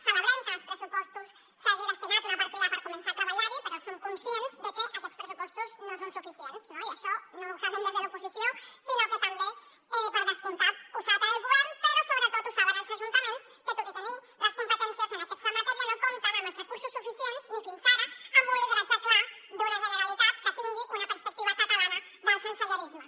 celebrem que en els pressupostos s’hagi destinat una partida per començar a treballar hi però som conscients de que aquests pressupostos no són suficients no i això no ho sabem des de l’oposició sinó que també per descomptat ho sap el govern però sobretot ho saben els ajuntaments que tot i tenir les competències en aquesta matèria no compten amb els recursos suficients ni fins ara amb un lideratge clar d’una generalitat que tingui una perspectiva catalana del sensellarisme